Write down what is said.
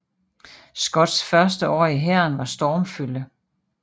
Scotts første år i hæren var stormfulde